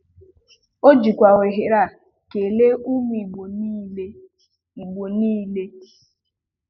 O jikwa ohere a kele ụmụ Igbo niile Igbo niile